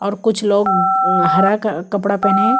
और कुछ लोग अम हरा क कपड़ा पहने हैं।